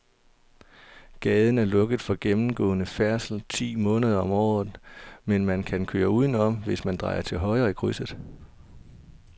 Gaden er lukket for gennemgående færdsel ti måneder om året, men man kan køre udenom, hvis man drejer til højre i krydset.